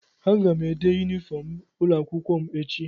Aga m ede yunifọm ụlọakwụkwọ m echi.